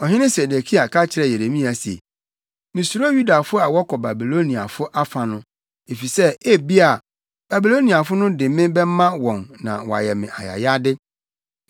Ɔhene Sedekia ka kyerɛɛ Yeremia se, “Misuro Yudafo a wɔkɔ Babiloniafo afa no, efisɛ ebia Babiloniafo no de me bɛma wɔn na wɔayɛ me ayayade.”